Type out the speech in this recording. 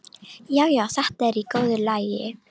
Já, já, þetta er í góðu lagi.